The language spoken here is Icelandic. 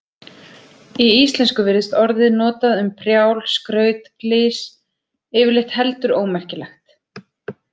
Í íslensku virðist orðið notað um prjál, skraut, glys, yfirleitt heldur ómerkilegt.